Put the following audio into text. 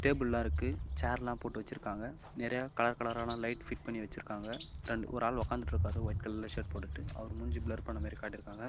புல்லாயிருக்கு ச்ஷேர்லாம் போட்டு வச்சிருக்காங்க நெறைய கலர் கலரான லைட் பிட் பண்ணி வச்சிருக்காங்க இரண்ட் ஒரு ஆள் உக்காத்துட்டு இருக்காரு வைட் கலர்ல ஷர்ட் போட்டுட்டு அவரு மூஞ்சி ப்ளர் பண்ண மாரி காட்டிருக்காங்க.